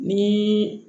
Ni